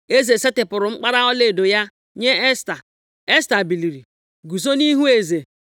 Eze setịpụrụ mkpara ọlaedo ya nye Esta. Esta biliri, guzo nʼihu eze,